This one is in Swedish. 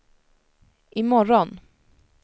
imorgon